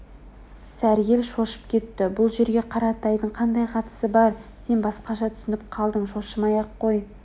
сәргел шошып кетті бұл жерге қаратайдың қандай қатысы бар сен басқаша түсініп қалдың шошымай-ақ қой